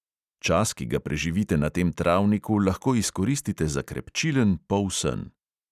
Čas, ki ga preživite na tem travniku, lahko izkoristite za krepčilen polsen.